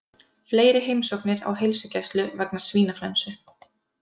Fleiri heimsóknir á heilsugæslu vegna svínaflensu